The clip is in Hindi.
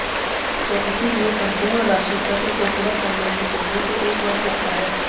इसलिए संपूर्ण राशि चक्र को पूरा करने में सूर्य को एक वर्ष लगता है